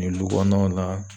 lu kɔnɔnaw la